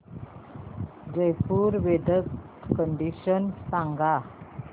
Jaipur weather condition सांगा